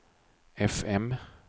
fm